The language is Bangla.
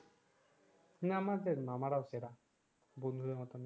না আমাদের না আমার এর সেরা বন্ধু দের মত না